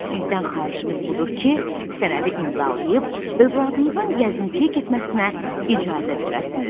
Sizdən xahişimiz budur ki, sənədi imzalayıb övladınızın gəzintiyə getməsinə icazə verəsiniz.